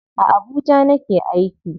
A Abuja nake aiki.